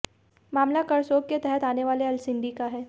मामला करसोग के तहत आने वाले अलसिंडी का है